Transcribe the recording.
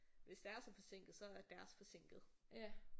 Hvis det er så forsinket så er deres forsinket